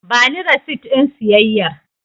Bani resit ɗin siyayyar.